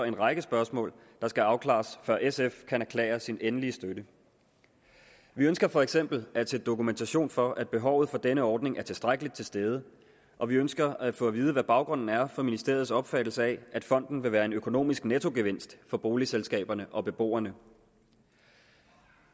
en række spørgsmål der skal afklares før sf kan erklære sin endelige støtte vi ønsker for eksempel at se dokumentation for at behovet for denne ordning er tilstrækkeligt til stede og vi ønsker at få at vide hvad baggrunden er for ministeriets opfattelse af at fonden vil være en økonomisk nettogevinst for boligselskaberne og beboerne